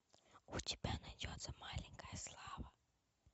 у тебя найдется маленькая слава